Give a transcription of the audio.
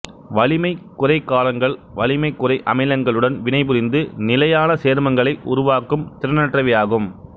வலிமை குறை காரங்கள் வலிமை குறை அமிலங்களுடன் வினைபுரிந்து நிலையான சேர்மங்களை உருவாக்கும் திறனற்றவையாகும்